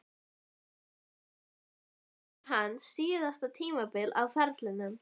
Verður næsta sumar hans síðasta tímabil á ferlinum?